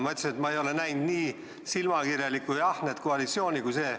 Ma ütlesin, et ma ei ole näinud nii silmakirjalikku ja ahnet koalitsiooni kui see.